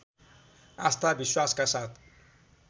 आस्था विश्वासका कारण